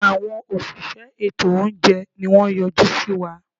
Àwọn òṣìṣẹ́ ètò óúnjẹ ni wọ́n yọjú síwa.